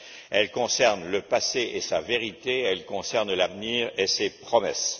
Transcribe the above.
Elle concerne le passé et sa vérité, elle concerne l'avenir et ses promesses.